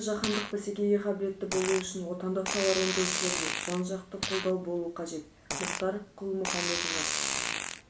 еліміз жаһандық бәсекеге қабілетті болуы үшін отандық тауар өндірушілерге жан-жақты қолдау болуы қажет мұхтар құл-мұхаммед нұр